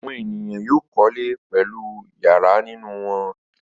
Àwọn ènìyàn yóò kọ́lé pẹ̀lú ìyàrá nínú wọn.